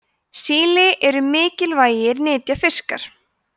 síli eru mikilvægir nytjafiskar